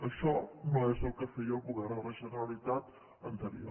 això no és el que feia el govern de la generalitat anterior